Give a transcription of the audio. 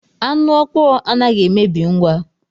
Anu ọkpọọ anaghị emebi ngwa.